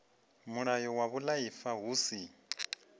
mulayo wa vhuaifa hu si